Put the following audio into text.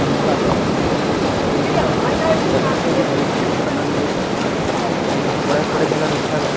घूमे ल आथे अउ ए जगह के आनंद लेथे अउ इहा बड़े-बड़े घला रुख हावे।